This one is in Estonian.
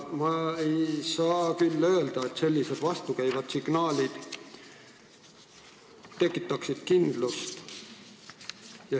Ma ei saa öelda, et sellised vastukäivad signaalid tekitaksid kindlust.